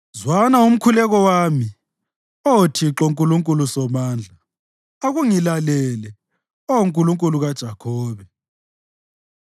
Zwana umkhuleko wami, Oh Thixo Nkulunkulu Somandla; akungilalele, Oh Nkulunkulu kaJakhobe.